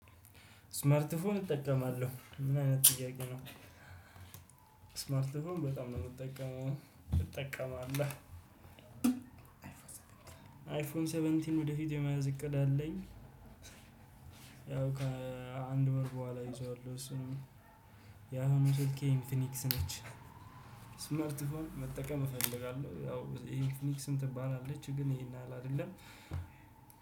ስማርት ፎን እጠቀማለሁ ምን አይነት ጥያቄ ነው? ስማርት ፎን በጣም ነው የምጠቀመው። እጠቀማለሁ። አይፎን ሰቨንቲን ወደፊት የመያዝ እቅድ አለኝ። ያው ከአንድ ወር በኋላ ይዟል እሱንም። ያሁኑ ስልኬ ኢንፊኒክስ ነች። ስማርት ፎን መጠቀም እፈልጋለሁ ያው ኢንፊኒክስም ትባላለች ግን ይሄን ያህል አይደለም